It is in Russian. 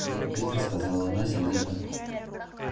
нет быстро сказала она сердито